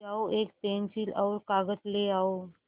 जाओ एक पेन्सिल और कागज़ ले आओ